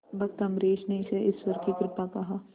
भक्त अम्बरीश ने इसे ईश्वर की कृपा कहा